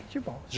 Futebol.